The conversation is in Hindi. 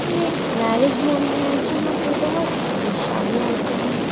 ये एक मैरिज होम है जहाँ पे बहोत सारी शादियाँ होती हैं।